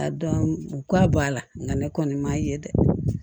A dɔn u ka bɔ a la nka ne kɔni m'a ye dɛ